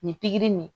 Nin pikiri nin